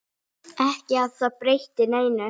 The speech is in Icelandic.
Ekki að það breytti neinu.